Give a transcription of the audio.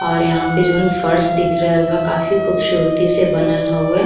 और यहाँ पे जौन फर्श दिख रहल बा काफी ख़ूबसूरती से बनल हउए।